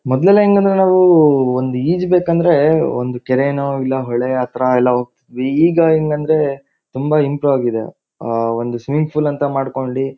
ಮೊದ್ಲೆಲ್ಲಾ ಎಂಗಂದ್ರೆ ನಾವೂ ಒಂದ್ ಈಜ್ ಬೇಕಂದ್ರೆ ಒಂದು ಕೆರೆ ನೋ ಇಲ್ಲ ಹೊಳೆ ಆತರ ಎಲ್ಲಾ ಹೋಗತಿದ್ವಿ ಈಗ ಏನಂದ್ರೆ ತುಂಬಾ ಇಂಪ್ರು ಆಗಿದೆ ಆಹ್ಹ್ ಒಂದು ಸ್ವಿಮ್ಮಿಂಗ್ ಫುಲ್ ಅಂತ ಮಾಡ್ಕೊಂಡಿ --